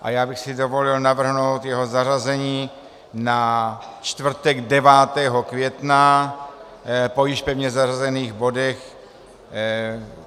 A já bych si dovolil navrhnout jeho zařazení na čtvrtek 9. května po již pevně zařazených bodech.